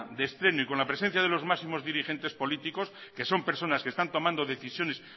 de estreno y con la presencia de los máximos dirigentes políticos que son personas que están tomado decisiones